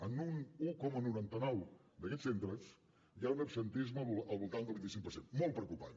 en un un coma noranta nou d’aquests centres hi ha un absentisme al voltant del vint cinc per cent molt preocupant